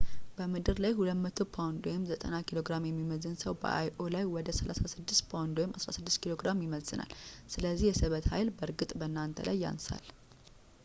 በምድር ላይ 200 ፓውንድ 90kg የሚመዝን ሰው በ io ላይ ወደ 36 ፓውንድ 16 ኪሎ ግራም ይመዝናል። ስለዚህ የስበት ኃይል በእርግጥ በእናንተ ላይ ያንሳል